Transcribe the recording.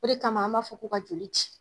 O de kama an b'a fɔ ko ka joli ci